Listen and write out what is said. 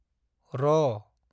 र